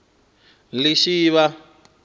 lishivha